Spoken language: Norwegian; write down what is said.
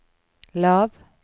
lav